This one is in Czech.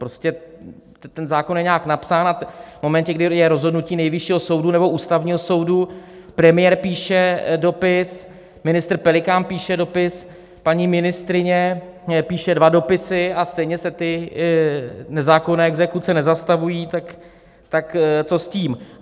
Prostě ten zákon je nějak napsán a v momentě, kdy je rozhodnutí Nejvyššího soudu nebo Ústavního soudu, premiér píše dopis, ministr Pelikán píše dopis, paní ministryně píše dva dopisy, a stejně se ty nezákonné exekuce nezastavují, tak co s tím.